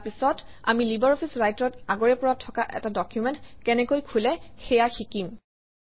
ইয়াৰ পিছত আমি LibreOffice Writer অত আগৰে পৰা থকা এটা ডকুমেণ্ট কেনেকৈ খোলে সেয়া শিকিম